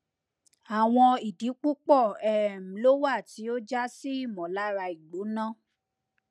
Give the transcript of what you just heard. awọn idi pupọ um lo wa ti o ja si imolara igbona